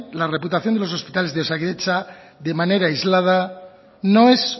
la reputación de los hospitales de osakidetza de manera aislada no es